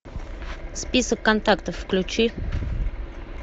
список контактов включи